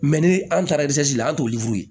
ni an taara la an t'o